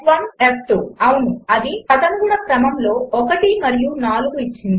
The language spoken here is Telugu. f f అవును అది తదనుగుణ క్రమములో 1 మరియు 4 ఇచ్చింది